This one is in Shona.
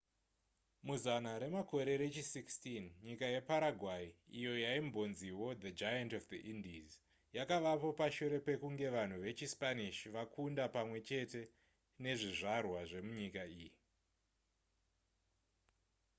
muzana remakore rechi 16 nyika yeparaguay iyo yaimbonziwo the giant of the indies yakavapo pashure pekunge vanhu vechispanish vakunda pamwe chete nezvizvarwa zvemunyika iyi